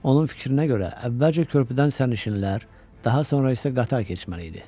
Onun fikrinə görə əvvəlcə körpüdən sərnişinlər, daha sonra isə qatar keçməli idi.